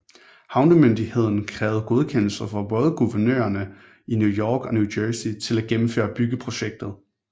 Havnemyndigheden krævede godkendelse fra både guvernørerne i New York og New Jersey til at gennemføre byggeprojektet